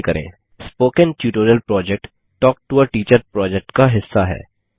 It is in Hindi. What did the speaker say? spoken tutorial project talk to a teacher project का हिस्सा है